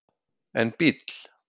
en bíll